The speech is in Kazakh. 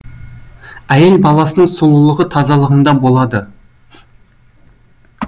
әйел баласының сұлулығы тазалығында болады